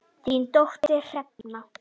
Þín dóttir, Hrefna.